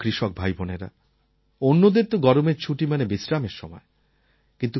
আমার কৃষক ভাইবোনেরা অন্যদের তো গরমের ছুটি মানে বিশ্রামের সময়